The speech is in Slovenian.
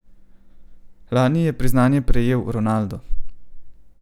Lani je priznanje prejel Ronaldo.